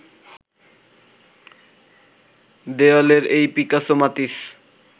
দেয়ালের এই পিকাসো মাতিস